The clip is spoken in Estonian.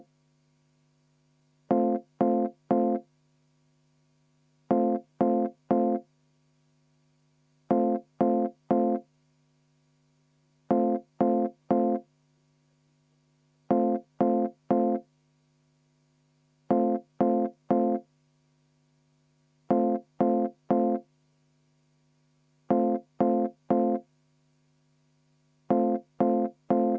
V a h e a e g